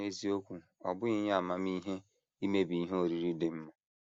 N’eziokwu, ọ bụghị ihe amamihe imebi ihe oriri dị mma.